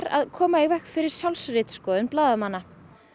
að koma í veg fyrir sjálfsritskoðun blaðamanna